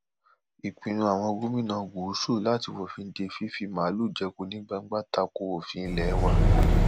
ìpinnu àwọn gómìnà gúúsù láti fòfin de fífi màálùú jẹko ní gbangba ta ko òfin ilé wa